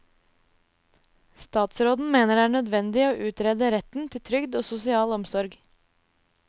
Statsråden mener det er nødvendig å utrede retten til trygd og sosial omsorg.